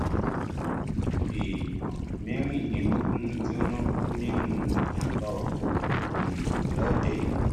èèyàn mẹrìndínlógún jóná kú nínú ìjàmbá ọkọ um lọdẹ